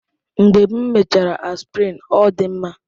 Mgbe m mechara Aspirin, ọ dị m mma.